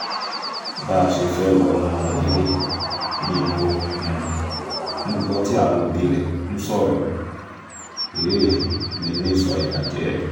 bá a ṣe fẹ́ẹ́ wọnú ilé ni mò um ń gbọ́ tí àwọn òbí rẹ̀ ń sọ̀rọ̀ um mi ní ìsọ̀ ìbàjẹ́